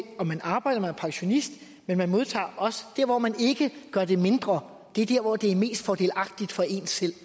om man arbejder man er pensionist men man modtager også dér hvor man ikke gør det mindre det er dér hvor det er mest fordelagtigt for en selv det